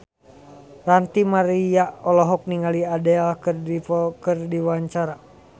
Ranty Maria olohok ningali Adele keur diwawancara